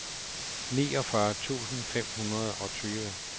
niogfyrre tusind fem hundrede og tyve